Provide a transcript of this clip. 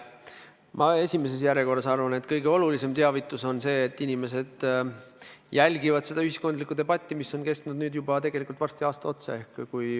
Ma esimeses järjekorras arvan, et kõige olulisem teavitus on see, et inimesed jälgivad seda ühiskondlikku debatti, mis on kestnud nüüd juba varsti aasta otsa.